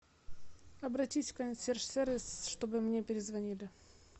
обратись в консьерж сервис чтобы мне перезвонили